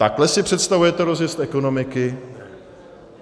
Takhle si představujete rozjezd ekonomiky?